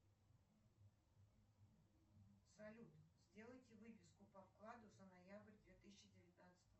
салют сделайте выписку по вкладу за ноябрь две тысячи девятнадцатого